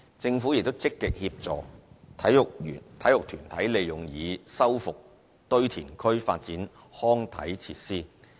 政府亦積極協助體育團體利用已修復堆填區發展康體設施。